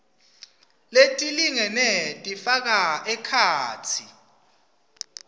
letilingene tifaka ekhatsi